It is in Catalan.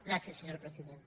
gràcies senyora presidenta